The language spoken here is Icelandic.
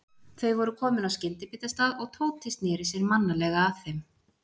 Þau voru komin að skyndibitastað og Tóti sneri sér mannalega að þeim.